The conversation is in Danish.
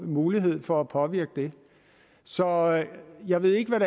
mulighed for at påvirke det så jeg ved ikke hvad